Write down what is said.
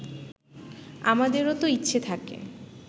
আমাদেরও তো ইচ্ছে থাকে